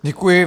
Děkuji.